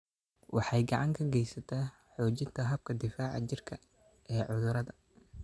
Waxay gacan ka geysataa xoojinta habka difaaca jirka ee cudurrada.